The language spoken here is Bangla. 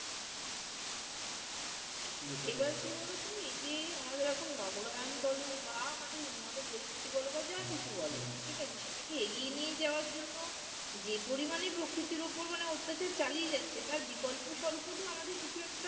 এবার কি হল আমাদের এখন নগরায়ন বলুক বা আমাদের উন্নত প্রযুক্তি বল যা কিছু বলো ঠিক আছে? সেটা কে এগিয়ে নিয়ে যাওয়ার জন্য যে পরিমাণে প্রকৃতির উপর অত্যাচার চালিয়ে যাচ্ছে তার অল্প স্বল্প তো আমাদের কিছু একটা